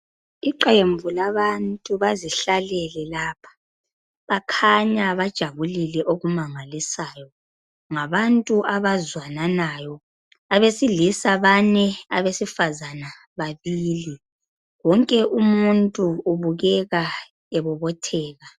Iqembu labantu bazihlalele lapha bakhanya bajabulile okumangalisayo ngabantu abazwananayo abesilisa bane abesifazana babili wonke umuntu ubukeka ebobotheka.